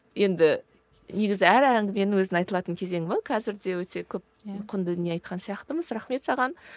енді негізі әр әңгіменің өзінің айтылатын кезеңі болады қазір де өте көп құнды дүние айтқан сияқтымыз рахмет саған